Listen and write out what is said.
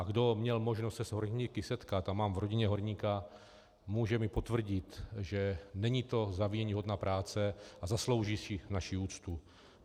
A kdo měl možnost se s horníky setkat, a mám v rodině horníka, může mi potvrdit, že není to záviděníhodná práce a zaslouží si naši úctu.